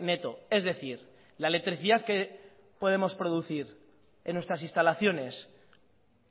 neto es decir la electricidad que podemos producir en nuestras instalaciones